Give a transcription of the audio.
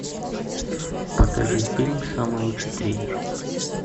покажи фильм самый лучший тренер